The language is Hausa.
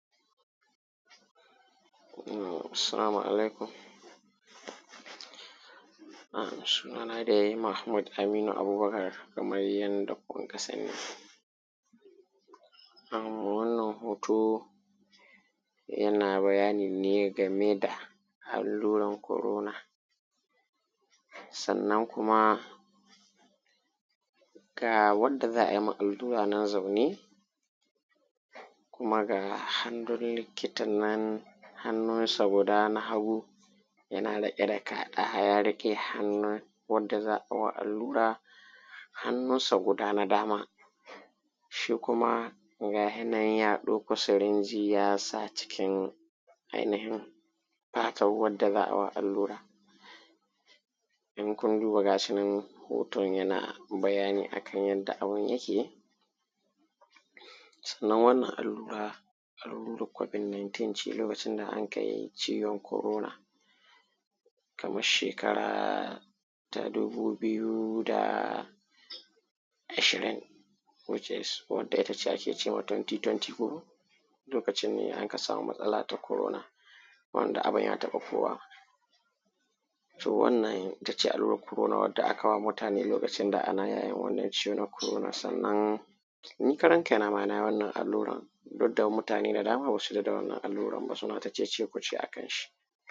Salamu alaikum, sunana dai Mahmud Aminu Abubakar kamar dai yadda kuka sani. Wannan hoto yana bayani ne game da alluran Corona, sannan kuma ga wanda za a yi ma allura nan zaune kuma ga hannun likita nan, hannunsa guda na hagu yana riƙe da ka, ya riƙe hannun wanda za a yi wa allura, hannunsa guda na dama shi kuma ga hi nan ya ɗauki sirinji ya sa cikin ainihin fatar wadda za a yi wa allura. In kun duba ga shi nan hoton yana bayani akan yadda abin yake, sannan wannan allura, allurar Covid 19 ce lokacin da anka yi ciwon Corona kamar shekara ta dubu biyu da ashirin no case, wacce ake ce ma 2020 ko? Lokacin ne aka samu matsala ta Corona wanda abin ya taɓa kowa. To wannan ita ce allurar corona wadda aka wa mutane lokacin da ana yayin wannan ciwo na corona sannan, ni karan kaina ma na yi wannan allurar duk da mutane da dama ba su yarda da wannan allurar ba suna ta cece kuce a kanshi